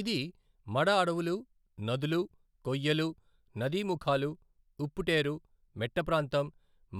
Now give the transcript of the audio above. ఇది మడ అడవులు, నదులు, కొయ్యలు, నదీముఖాలు, ఉప్పుటేఱు, మెట్ట ప్రాంతం,